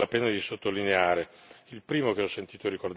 Ci sono alcuni aspetti che vale la pena sottolineare.